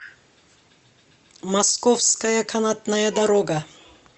московская канатная дорога